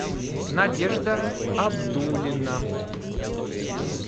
надежда абдулина